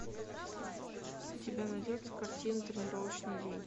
у тебя найдется картина тренировочный день